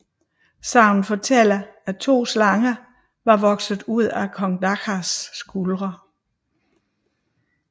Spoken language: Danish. Sagnet fortæller at to slanger var vokset ud af kong Dahaks skuldre